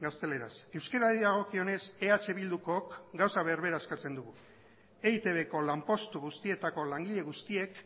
gazteleraz euskarari dagokionez eh bildukook gauza berbera eskatzen dugu eitbko lanpostu guztietako langile guztiek